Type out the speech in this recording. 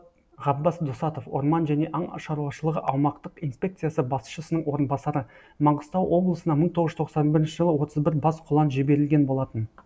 ғаббас досатов орман және аң шаруашылығы аумақтық инспекциясы басшысының орынбасары маңғыстау облысына мың тоғыз жүз тоқсан бірінші жылы отыз бір бас құлан жіберілген болатын